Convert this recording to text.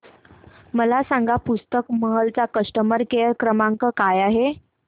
मला सांगा पुस्तक महल चा कस्टमर केअर क्रमांक काय आहे